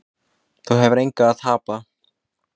Þú hefur engu að tapa.